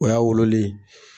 O y'a wololen